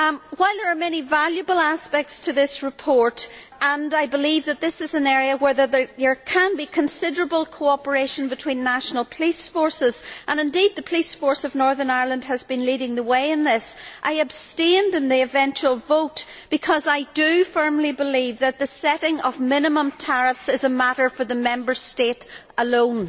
While there are many valuable aspects to this report, and I believe that this is an area where there can be considerable cooperation between national police forces indeed the police force of Northern Ireland has been leading the way in this I abstained in the eventual vote because I firmly believe that the setting of minimum tariffs is a matter for the Member State alone.